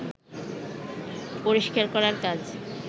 পরিষ্কার করার কাজ